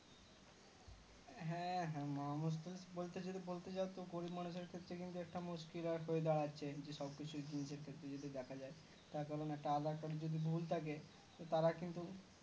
হ্যাঁ হ্যাঁ মহা মুশকিল বলতে গেলে বলতে যাও তো গরিব মানুষের ক্ষেত্রে কিন্তু একটা মুশকিল আরেকটা ওয়াদার আছে যে সব কিছু নিজের ক্ষেত্রে যদি দেখা যাই তার কারণ একটা aadhar card যদি ভুল থাকে তো তারা কিন্তু